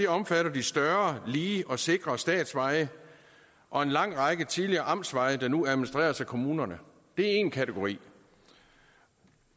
omfatter de større lige og sikre statsveje og en lang række tidligere amtsveje der nu administreres af kommunerne det er én kategori